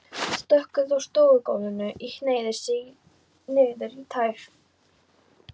Stökk út á stofugólfið og hneigði sig niður í tær.